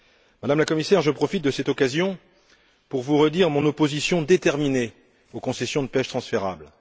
Madame la Commissaire, je profite de cette occasion pour vous redire mon opposition déterminée aux concessions de pêche transférables.